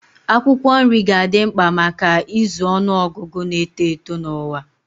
Akwụkwọ nri ga-adị mkpa maka ịzụ ọnụ ọgụgụ na-eto eto n'ụwa.